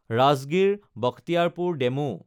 Rajgir-Bakhtiyarpur DEMU